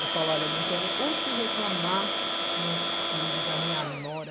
Eu falo, olha, não tenho o que reclamar meus filhos, a minha nora.